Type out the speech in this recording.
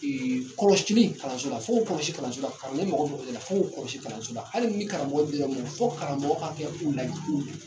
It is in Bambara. kɔlɔsili kalanso la fo k'o kɔlɔsi kalanso la kalanden mago bɛ o de la fo k'o kɔlɔsi kalanso la hali ni karamɔgɔ bɛ yɔrɔ min fo karamɔgɔ ka kɛ u lajɛ u